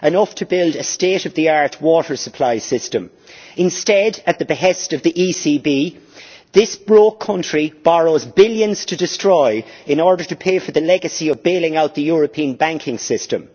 That is enough to build a state of the art water supply system, but instead, at the behest of the ECB, this broke country borrows billions to destroy in order to pay for the legacy of bailing out the European banking system.